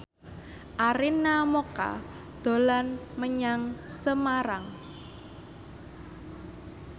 Arina Mocca dolan menyang Semarang